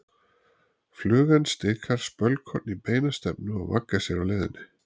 Flugan stikar spölkorn í beina stefnu og vaggar sér á leiðinni.